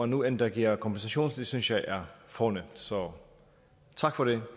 nu endda giver kompensation det synes jeg er fornemt så tak for det